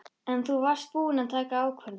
En þú varst búin að taka ákvörðun.